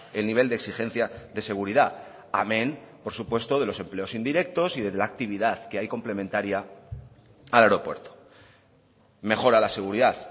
el nivel de exigencia de seguridad amén por supuesto de los empleos indirectos y de la actividad que hay complementaria al aeropuerto mejora la seguridad